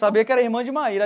Sabia que era irmã de Maíra.